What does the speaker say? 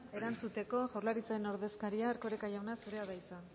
erantzuteko jaurlaritzaren ordezkaria erkoreka jauna zurea da hitza